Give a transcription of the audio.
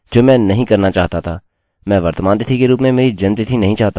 मेरा firstname ठीक है मेरा lastname ठीक है मेरा gender सही है